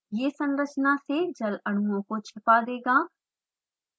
ये संरचना से जल अणुओं को छिपा देगा